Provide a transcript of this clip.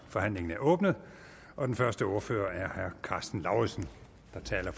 forhandlingen er åbnet den første ordfører er herre karsten lauritzen der taler